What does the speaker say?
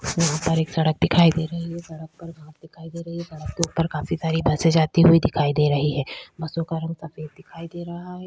यहाँ पर एक सड़क दिखाई दे रही है सड़क पर घास दिखाई दे रही है सड़क के ऊपर काफी सारी बसें जाती हुई दिखाई दे रही हैं बसों का रंग सफेद दिखाई दे रहा है।